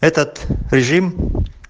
этот режим